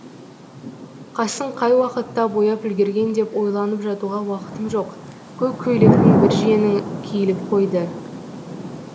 қасын қай уақытта бояп үлгерген деп ойланып жатуға уақытым жоқ көк көйлектің бір жеңі киіліп қойды